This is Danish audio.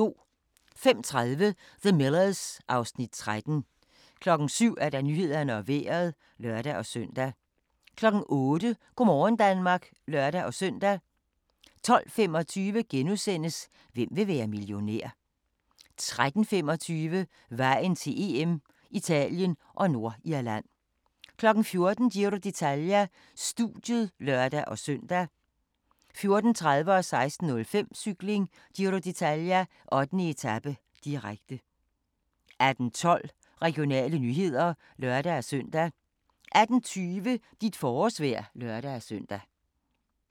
05:30: The Millers (Afs. 13) 07:00: Nyhederne og Vejret (lør-søn) 08:00: Go' morgen Danmark (lør-søn) 12:25: Hvem vil være millionær? * 13:25: Vejen til EM: Italien og Nordirland 14:00: Giro d'Italia: Studiet (lør-søn) 14:30: Cykling: Giro d'Italia - 8. etape, direkte 16:05: Cykling: Giro d'Italia - 8. etape, direkte 18:12: Regionale nyheder (lør-søn) 18:20: Dit forårsvejr (lør-søn)